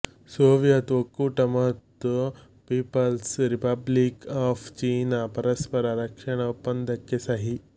Soviet ಒಕ್ಕೂಟ ಮತ್ತು People's Republic of China ಪರಸ್ಪರ ರಕ್ಷಣಾ ಒಪ್ಪಂದಕ್ಕೆ ಸಹಿ